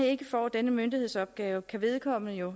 ikke får denne myndighedsopgave kan vedkommende jo